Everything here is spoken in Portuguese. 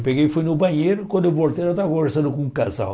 Eu peguei e fui no banheiro, quando eu voltei, ela estava conversando com um casal.